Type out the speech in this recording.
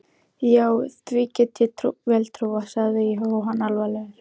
Já, því get ég vel trúað sagði Jóhann alvarlegur.